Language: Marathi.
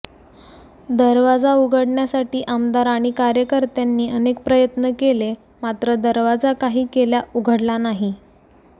दरवाजा उघडण्यासाठी आमदार आणि कार्यकर्त्यांनी अनेक प्रयत्न केले मात्र दरवाजा काही केल्या उघडला नाही